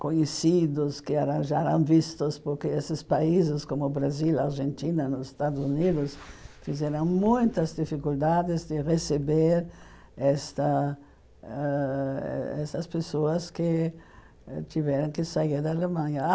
conhecidos, que já eram vistos, porque esses países como o Brasil, a Argentina, nos Estados Unidos fizeram muitas dificuldades de receber esta ãh essas pessoas que tiveram que sair da Alemanha.